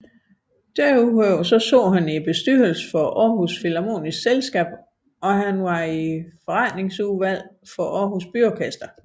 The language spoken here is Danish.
Desuden sad han i bestyrelsen for Aarhus Philharmoniske Selskab og var i forretningsudvalget for Aarhus Byorkester